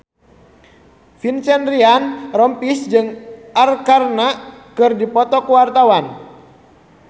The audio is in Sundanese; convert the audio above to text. Vincent Ryan Rompies jeung Arkarna keur dipoto ku wartawan